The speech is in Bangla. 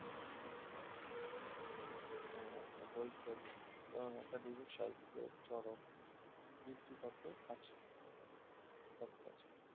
আহ বৈজ্ঞানিক আহ academic সাহিত্যের চরম যুক্তি তর্ক আছে যুক্তি তর্ক আছে